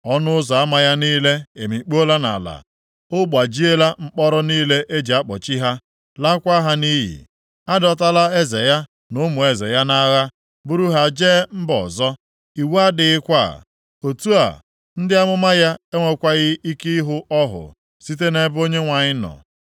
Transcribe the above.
Ọnụ ụzọ ama ya niile emikpuola nʼala; ọ gbajiela mkpọrọ niile e ji akpọchi ha, laakwa ha nʼiyi. A dọtala eze ya na ụmụ eze ya nʼagha, buru ha jee mba ọzọ. Iwu adịghịkwa, otu a, ndị amụma ya enwekwaghị ike ịhụ ọhụ site nʼebe Onyenwe anyị nọ.